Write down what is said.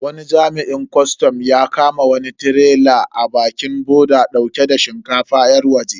Wani jami'in kwastam ya kama wani tirela a bakin boda dauke da shinkafa yar waje.